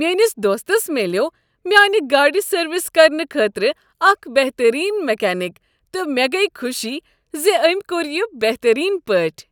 میٲنس دوستس ملیوٚو میانِہ گاڑِ سروس کرنہٕ خٲطرٕ اکھ بہتٔریٖن میکینک تہٕ مےٚ گٔیۍ خوشی ز أمۍ کوٚر یہ بہتٔریٖن پٲٹھۍ۔